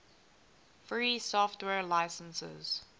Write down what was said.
free software licenses